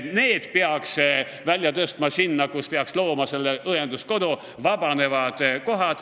Nad peaksid olema õenduskodus.